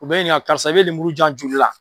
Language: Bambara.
U bɛ n ɲininka karisa, i bɛ lemuru di yan joli la?